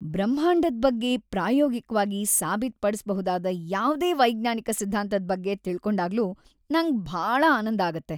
ಬ್ರಹ್ಮಾಂಡದ್ ಬಗ್ಗೆ ಪ್ರಾಯೋಗಿಕ್ವಾಗಿ ಸಾಬೀತ್‌ಪಡ್ಸ್‌ಬಹುದಾದ ಯಾವ್ದೇ ವೈಜ್ಞಾನಿಕ ಸಿದ್ಧಾಂತದ್‌ ಬಗ್ಗೆ ತಿಳ್ಕೊಂಡಾಗ್ಲೂ ನಂಗ್‌ ಭಾಳ ಆನಂದ ಆಗತ್ತೆ.